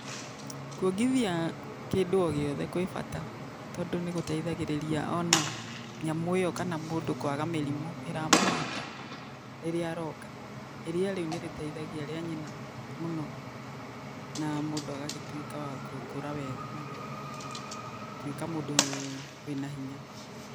Kuongithia, kĩndũ ogĩothe gwĩ bata, tondũ nĩgũteithagĩrĩria ona, nyamũ ĩyo kana mũndũ kwaga mĩrimũ, ĩramũnyita, rĩrĩa aronga, iria rĩu nĩrĩteithagia rĩa nyina, mũno, na mũndũ agagĩtuĩka wa gũkũra wega na, gũtuĩka mũndũ, wĩna hinya.